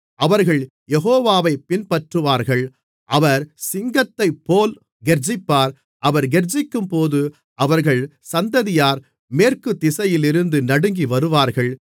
அவர்கள் யெகோவாவைப் பின்பற்றுவார்கள் அவர் சிங்கத்தைப்போல் கெர்ச்சிப்பார் அவர் கெர்ச்சிக்கும்போது அவர்கள் சந்ததியார் மேற்குத்திசையிலிருந்து நடுங்கி வருவார்கள்